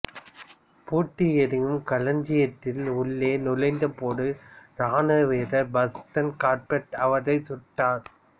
booth எரியும் களஞ்சியத்தில் உள்ளே நுழைந்தபோது இராணுவ வீரர் பாஸ்டன் கார்பெட் அவரை சுட்டார்